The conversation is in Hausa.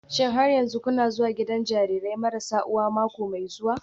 Shin har yanzu kuna zuwa gidan jarirai marasa uwa mako mai zuwa?